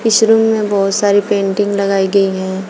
इस रूम में बहुत सारी पेंटिंग्स लगाई गई हैं।